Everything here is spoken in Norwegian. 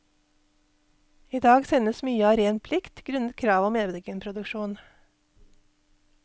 I dag sendes mye av ren plikt, grunnet kravet om egenproduksjon.